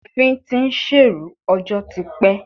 Òfin ti ń ṣèrú ọjọ́ ti pẹ́.